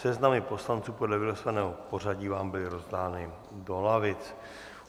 Seznamy poslanců podle vylosovaného pořadí vám byly rozdány do lavic.